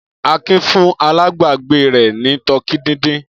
Akin fún alágbàágbé rẹ̀ ní tọkí dídín.